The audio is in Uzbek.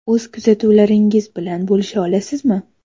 O‘z kuzatuvlaringiz bilan bo‘lisha olasizmi?